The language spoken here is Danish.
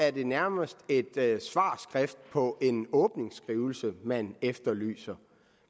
at det nærmest er et svarskrift på en åbningsskrivelse man efterlyser